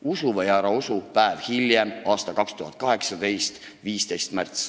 Usu või ära usu, nii on see päev pärast emakeelepäeva, 15. märtsil 2018.